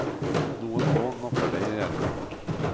Noen få napper deg i ermet.